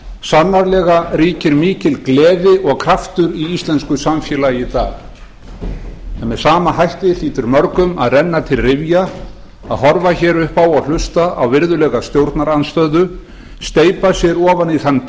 sannarlega ríkir mikil gleði og kraftur í íslensku samfélagi í dag en með sama hætti hlýtur mörgum að renna til rifja að horfa hér upp á og hlusta á virðulega stjórnarandstöðu steypa sér ofan í þann